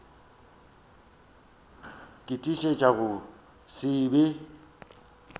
ke tiišetša go se be